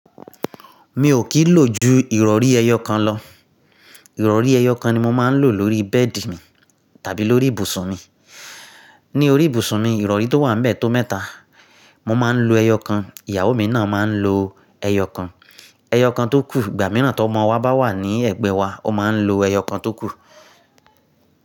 Mi ò kí ń lò ju Ìrọ̀rí ẹyọ kan lọ. Ìrọ̀rí ẹyọ kan ni mo máa ń lò lórí bẹ́ẹ̀dì mi tàbí lórí ibùsùn mi. Ni orí ibùsùn mi, Ìrọ̀rí tó wà ní ń bẹ́ẹ̀ tó mẹ́ta, mo máa ń lo ẹyọ kan, ìyàwó mi náà máa ń lo ẹyọ kan. Ẹyọ kan tó kù, ìgbà mìíràn tí ọmọ wa bá wà ní ẹ̀gbẹ́ wa, ó máa ń lo ẹyọ kan tó kù.